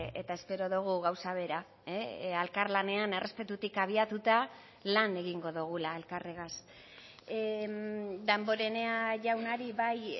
eta espero dugu gauza bera elkarlanean errespetutik abiatuta lan egingo dugula elkarregaz damborenea jaunari bai